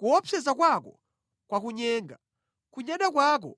Kuopseza kwako kwakunyenga; kudzikuza kwa mtima wako